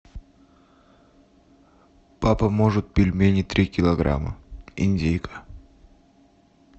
папа может пельмени три килограмма индейка